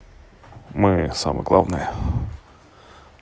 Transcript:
мы самое главное